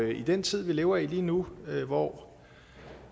i den tid vi lever i lige nu hvor